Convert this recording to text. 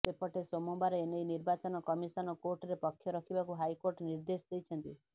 ସେପଟେ ସୋମବାର ଏନେଇ ନିର୍ବାଚନ କମିଶନ କୋର୍ଟରେ ପକ୍ଷ ରଖିବାକୁ ହାଇକୋର୍ଟ ନିର୍ଦ୍ଦେଶ ଦେଇଛନ୍ତି